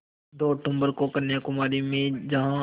दो अक्तूबर को कन्याकुमारी में जहाँ